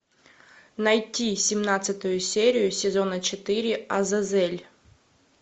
найти семнадцатую серию сезона четыре азазель